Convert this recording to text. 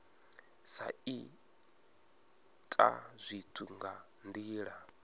sa ita zwithu nga ndila